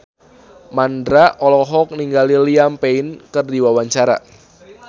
Mandra olohok ningali Liam Payne keur diwawancara